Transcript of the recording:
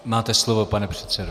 Máte slovo, pane předsedo.